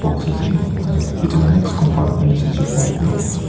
boxa next compartment teh sai se koi leh tu--